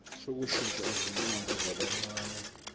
sokushintsha izibongo zabancane